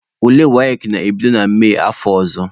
Ule WAEC na-ebido na Mee afọ ọzọ.